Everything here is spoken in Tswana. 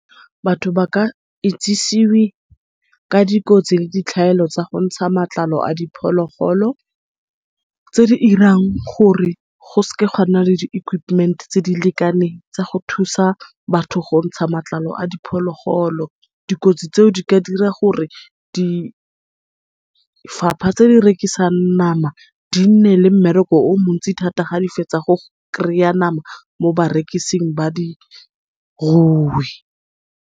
Batho ba ka itsisiwi ka dikotsi le ditlhaelo tsa go ntsha matlalo a diphologolo, tse di dirang gore go seke ga nna le di-equipment tse di lekaneng go thusa batho go ntsha matlalo a diphologolo. Dikotsi tseo di ka dira gore difapha tse di rekisang nama, di nne le mmereko o mo ntsi thata ga di fetsa go kry-a nama mo barekising ba dirui.